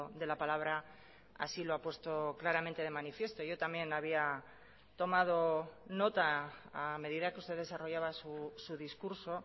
de la palabra así lo ha puesto claramente de manifiesto yo también había tomado nota a medida que usted desarrollaba su discurso